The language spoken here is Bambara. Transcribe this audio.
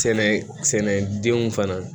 Sɛnɛ sɛnɛdenw fana